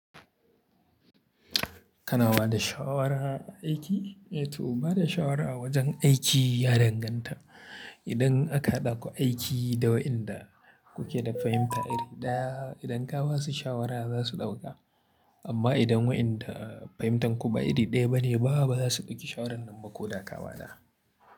Kana bada shawara aiki? To bada shawara a wajen aiki ya danganta. Idan aka hadaku aiki da waɗanda kuke da fahimta iri ɗaya, idan ka ba su shawara za su ɗauka. Amma idan waɗanda fahimtar ku ba iri ɗaya bane, ba za su ɗauki shawaran nan ba ko da ka ba da.